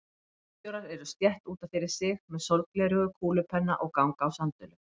Bílstjórar eru stétt út af fyrir sig, með sólgleraugu, kúlupenna og ganga á sandölum.